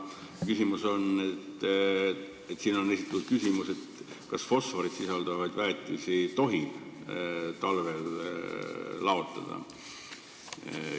Sellega seoses on kooskõlastamise käigus esitatud küsimus, kas fosforit sisaldavat väetist tohib talvel laotada.